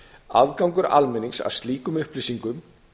aðgangur almennings að slíkum upplýsingum